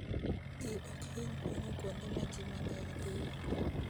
Ji ok hiny pong'o kuonde ma ji mang'eny dhiye.